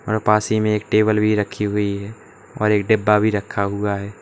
और पास ही में एक टेबल भी रखी हुई है और एक डिब्बा भी रखा हुआ है।